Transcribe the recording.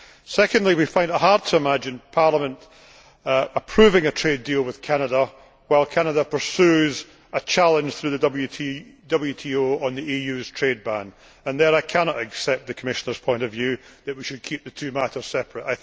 Secondly, we find it hard to imagine Parliament approving a trade deal with Canada while Canada pursues a challenge, through the WTO, on the EU's trade ban. Here I cannot accept the Commissioner's point of view that we should keep the two matters separate.